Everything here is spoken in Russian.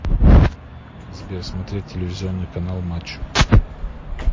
сбер смотреть телевизионный канал матч